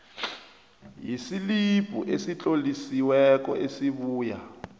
yeslibhu esitlolisiweko esibuya